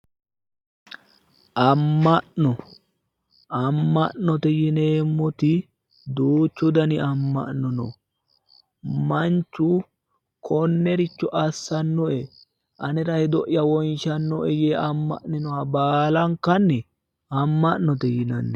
Amma'no, amma'note yineemmoti duuchu dani amma'no no manchu konnericho assannoe anera hedo'ya wonshannoe yee amma'ninoha baala amma'note yinanni.